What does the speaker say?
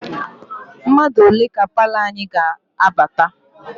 Mmadụ ole ka palọ anyị ga-abata?